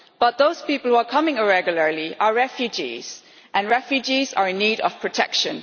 But those people who are coming irregularly are refugees, and refugees are in need of protection.